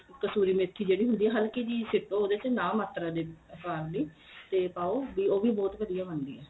ਕਸਤੂਰੀ ਮੇਥੀ ਜਿਹੜੀ ਹੁੰਦੀ ਏ ਹਲਕੀ ਜੀ ਉਹਦੇ ਚ ਨਾ ਮਾਤਰ ਜੇ ਪਾਣ ਲਈ ਤੇ ਪਾਉ ਉਹ ਵੀ ਬਹੁਤ ਵਧੀਆ ਬਣਦੀ ਏ